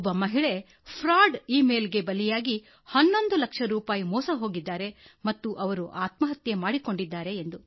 ಒಬ್ಬ ಮಹಿಳೆ ವಂಚನೆ ಮತ್ತು ಮೋಸದ ಇ ಮೇಲ್ ಬಲೆಗೆ ಬಿದ್ದು ಸ್ವತಃ ಆಕೆ 11 ಲಕ್ಷ ರೂಪಾಯಿ ಕಳೆದುಕೊಂಡಿದ್ದಲ್ಲದೆ ಆತ್ಮಹತ್ಯೆ ಮಾಡಿಕೊಂಡುಬಿಟ್ಟಳು